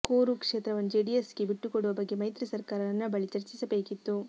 ತುಮಕೂರು ಕ್ಷೇತ್ರವನ್ನು ಜೆಡಿಎಸ್ ಗೆ ಬಿಟ್ಟುಕೊಡುವ ಬಗ್ಗೆ ಮೈತ್ರಿ ಸರ್ಕಾರ ನನ್ನ ಬಳಿ ಚರ್ಚಿಸಬೇಕಿತ್ತು